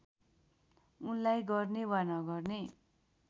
उनलाई गर्ने वा नगर्ने